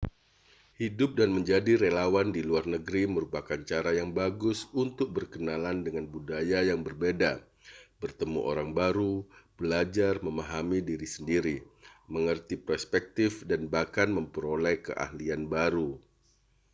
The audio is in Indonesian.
hidup dan menjadi relawan di luar negeri merupakan cara yang bagus untuk berkenalan dengan budaya yang berbeda bertemu orang baru belajar memahami diri sendiri mengerti perspektif dan bahkan memperoleh keahlian baru